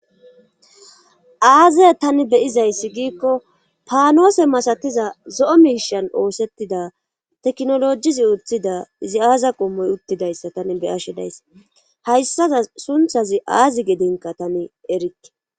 aaze tani beyizayssi giikko paanoose masatiza zo7o miishan oosettida tekinolojizi uthida izi aaza qommoy uttidayssa tani beyashedayssa hayssaza sunthazi aazi gedinka tani erikke